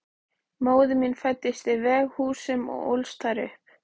Móðir mín fæddist í Veghúsum og ólst þar upp.